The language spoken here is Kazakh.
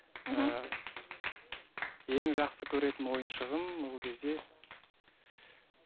мхм ііі ең жақсы көретін ойыншығым ол кезде